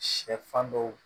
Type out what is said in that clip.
Sɛfan dɔw